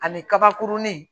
Ani kabakurunin